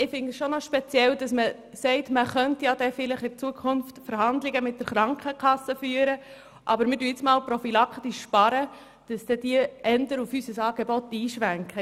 Ich finde es schon speziell, wenn man sagt, man könne vielleicht in Zukunft Verhandlungen mit der Krankenkasse führen, aber es werde jetzt mal prophylaktisch gespart, damit sie dann eher auf unser Angebot einschwenken.